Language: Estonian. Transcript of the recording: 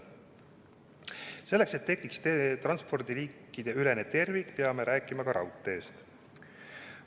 Selleks, et tekiks transpordiliikideülene tervik, peame rääkima ka raudteest.